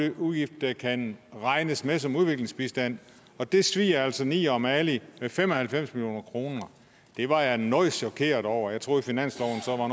en udgift der kan regnes med som udviklingsbistand og det svier altså til niger og mali med fem og halvfems million kroner det var jeg noget chokeret over jeg troede finansloven